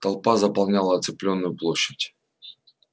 толпа заполняла оцепленную площадь